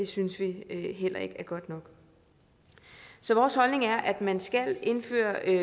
synes vi heller ikke er godt nok så vores holdning er at man skal indføre en